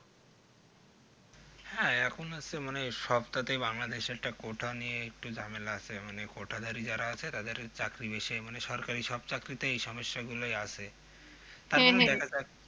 হ্যাঁ এখন হচ্ছে মানে সবটাতেই bangladesh একটা quota নিয়ে একটু ঝামেলা আছে মানে quota ধারী যারা আছে তাদের চাকরি বেশি হয় মানে সরকারী সব চাকরী তেই এই সমস্যা গুলো আছে হ্যাঁ হ্যাঁ তারপর দেখা যাক